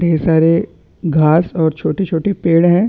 ढेर सारे घास और छोटे-छोटे पेड़ है।